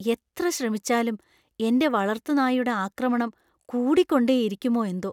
എത്ര ശ്രമിച്ചാലും എന്‍റെ വളർത്തുനായുടെ ആക്രമണം കൂടികൊണ്ടേയിരിക്കുമോ എന്തോ!